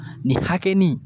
Nin hakɛni